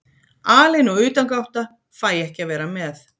Alein og utangátta, fæ ekki að vera með.